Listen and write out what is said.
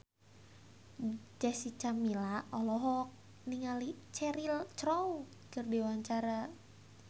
Jessica Milla olohok ningali Cheryl Crow keur diwawancara